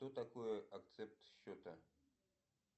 что такое акцепт счета